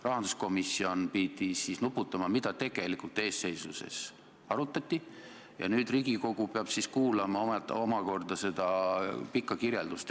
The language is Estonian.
Rahanduskomisjon pidi nuputama, mida tegelikult eestseisuses arutati, ja nüüd peab Riigikogu kuulama omakorda seda pikka kirjeldust.